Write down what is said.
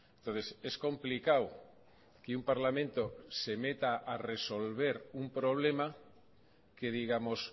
entonces es complicado que un parlamento se meta a resolver un problema que digamos